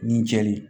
Ni cɛ de